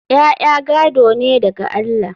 ya'ya gado ne daga Allah